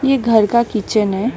ये घर का किचन है।